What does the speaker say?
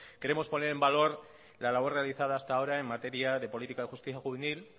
queremos poner en valor la labor realizada hasta ahora en materia de política y justicia juvenil